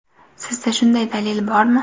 Sizda shunday dalil bormi?